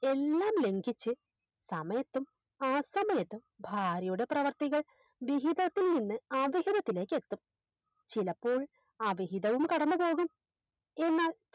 എല്ലാം ലംഗിച്ച് സമയത്തും ആസമയത്തും ഭാര്യയുടെ പ്രവർത്തികൾ വിഹിതത്തിൽ നിന്ന് ആദികര്യത്തിലേക്ക് എത്തും ചിലപ്പോൾ അവിഹിതവും കടന്നുപോകും എന്നാൽ